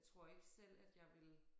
Jeg tror ikke selv at jeg ville